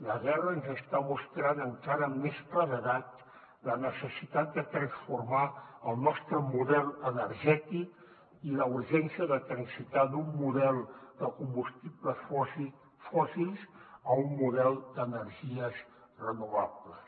la guerra ens està mostrant encara amb més claredat la necessitat de transformar el nostre model energètic i la urgència de transitar d’un model de combustibles fòssils a un model d’energies renovables